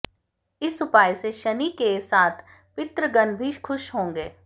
इस उपाय से शनि के साथ पितृगण भी खुश होंगे